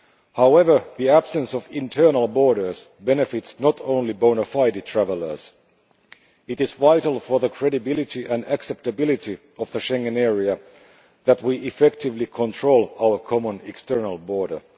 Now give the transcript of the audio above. However, the absence of internal borders benefits not only bona fide travellers. It is vital for the credibility and acceptability of the Schengen area that we effectively control our common external border.